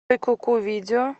джой куку видео